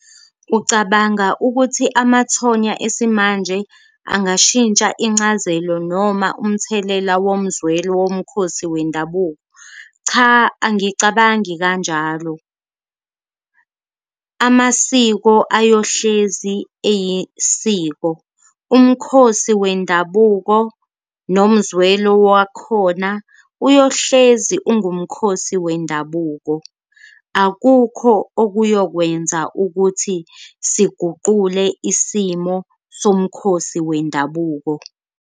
Ucabanga ukuthi amathonya esimanje angashitsha incazelo noma umthelela womzwelo womkhosi wendabuko? Cha, angicabangi kanjalo amasiko ayohlezi eyisiko, umkhosi wendabuko nomzwelo wakhona uyohlezi ungumkhosi wendabuko, akukho okuyokwenza ukuthi siguqule isimo somkhosi wendabuko.